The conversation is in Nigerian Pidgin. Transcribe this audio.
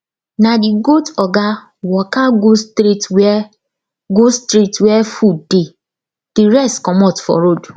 na the goat oga waka go straight where go straight where food dey the rest comot for road